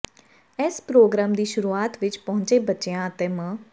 ਇਸ ਪ੍ਰਰੋਗਰਾਮ ਦੀ ਸ਼ੁਰੂਆਤ ਵਿਚ ਪਹੁੰਚੇ ਬੱਚਿਆਂ ਅਤੇ ਮ